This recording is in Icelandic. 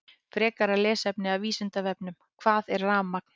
Frekara lesefni af Vísindavefnum: Hvað er rafmagn?